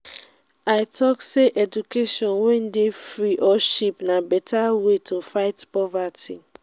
i tok sey education wey dey free or cheap na beta way to fight poverty.